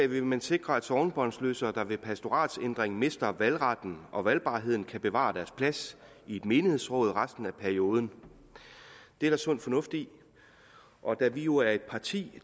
vil man sikre at sognebåndsløsere der ved pastoratændringer mister valgretten og valgbarheden kan bevare deres plads i et menighedsråd resten af perioden det er der sund fornuft i og da vi jo er et parti